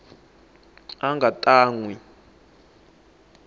a nga ta n wi